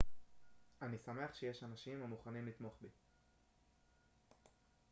אני שמח שיש אנשים המוכנים לתמוך בי